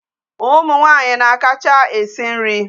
Ụmụ nwaanyi na-akacha esi nri.